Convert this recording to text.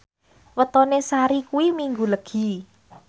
wetone Sari kuwi Minggu Legi